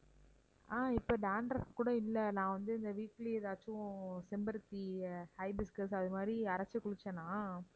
ஆஹ் இப்போ dandruff கூட இல்ல நான் வந்து weekly ஏதாச்சும் செம்பருத்தி hibiscus அது மாதிரி அரைச்சு குளிச்சனா